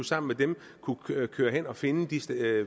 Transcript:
sammen med dem kunne køre hen og finde de